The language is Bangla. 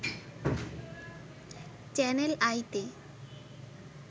চ্যানেল আইতে